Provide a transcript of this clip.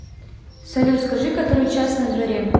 салют скажи который час на дворе